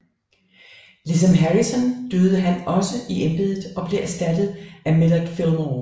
Ligesom Harrison døde han også han i embedet og blev erstattet af Millard Fillmore